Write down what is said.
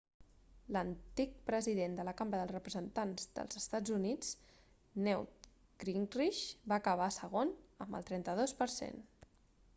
l'antic president de la cambra dels representats dels eua newt gingrich va acabar segon amb el 32 per cent